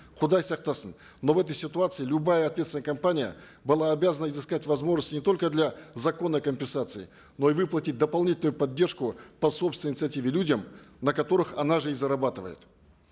құдай сақтасын но в этой ситуации любая ответственная компания была обязана изыскать возможность не только для законной компенсации но и выплатить дополнительную поддержку по собственной инициативе людям на которых она же и зарабатывает